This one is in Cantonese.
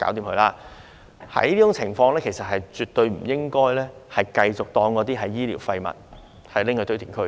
在這種情況下，其實也絕對不應該繼續將嬰兒遺骸視為醫療廢物，運到堆填區。